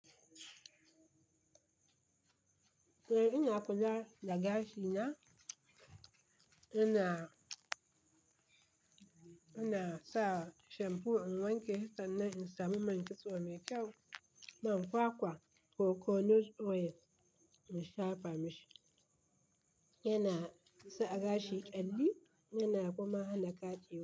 Eh ina kula da gashi na, ina, ina sa shampo in wanke shi sannan in samu man kitso mai kyau, man kwakwa coconut oil in shafa mashi. Yana sa gashi ƙyalli yana kuma hana ƙaɗewa.